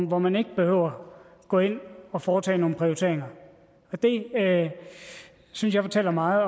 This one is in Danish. hvor man ikke behøver at gå ind og foretage nogle prioriteringer det synes jeg fortæller meget